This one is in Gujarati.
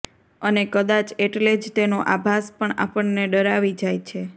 અને કદાચ એટલે જ તેનો આભાસ પણ આપણને ડરાવી જાય છે